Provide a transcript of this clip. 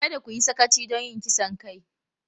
Kada ku yi sakaci don yin kisan kai!